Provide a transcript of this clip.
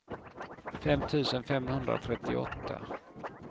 fem tusen femhundratrettioåtta